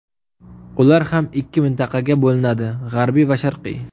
Ular ham ikki mintaqaga bo‘linadi: G‘arbiy va Sharqiy.